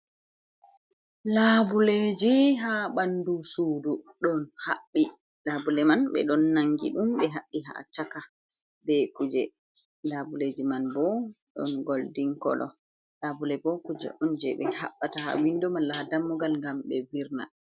Labuleji ha ɓandu sudu ɗon haɓɓi. Labule man ɓe ɗon nangi ɗum ɓe haɓɓi ha chaka be kuje. Labuleji man bo ɗon goldin kolo. Labule bo kuje on je ɓe haɓɓata ha windo malla ha dammugal ngam ɓe virna.